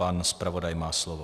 Pan zpravodaj má slovo.